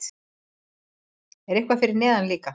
Er eitthvað fyrir neðan líka?